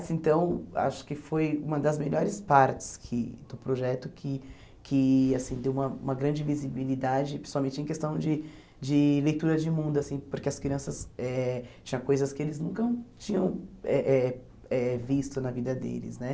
Assim então, acho que foi uma das melhores partes que do projeto, que que assim deu uma uma grande visibilidade, principalmente em questão de de leitura de mundo assim, porque as crianças eh tinham coisas que eles nunca tinham eh eh eh visto na vida deles né.